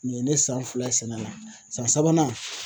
Ni ye ne san fila ye sɛnɛ la, san sabanan